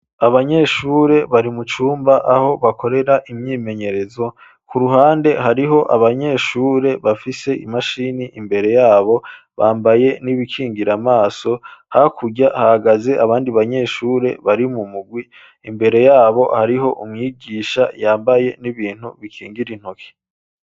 Abanyeshure, bari mu cumba, aho bakorera imyimenyerezo; ku ruhande, hariho abanyeshure, bafise imashini, imbere yabo; bambaye n'ibikingira amaso, hakurya, hahagaze abandi banyeshure, bari mu mugwi; imbere y'abo, hariho umwigisha, yambaye n'ibintu, bikingira intoki.